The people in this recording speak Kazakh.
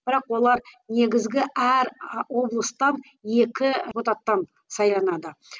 бірақ олар негізгі әр і облыстан екі депутаттан сайланады